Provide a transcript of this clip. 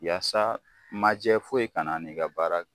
Yasa majɛ foyi kana n'i ka baara